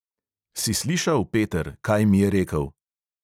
"Si slišal, peter, kaj mi je rekel?"